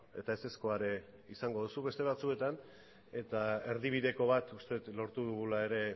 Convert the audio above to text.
eta ezezkoa ere izango duzu beste batzuetan eta erdibideko bat uste dut lortu dugula ere